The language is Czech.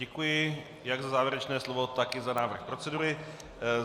Děkuji jak za závěrečné slovo, tak i za návrh procedury.